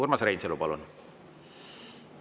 Urmas Reinsalu, palun!